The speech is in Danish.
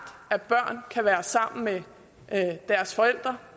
at børn kan være sammen med deres forældre